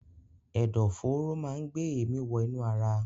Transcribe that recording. Ẹ̀dọ̀ fóóró máa ń gbé èémi wọ inú ara.